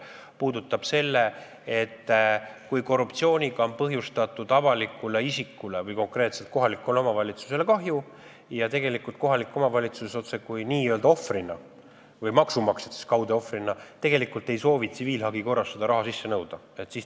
See puudutab seda, kui korruptsiooniga on põhjustatud kahju avalikule isikule või kohalikule omavalitsusele ja kui kohalik omavalitsus ohvrina või maksumaksjad kaudse ohvrina ei soovi tsiviilhagi korras raha sisse nõuda.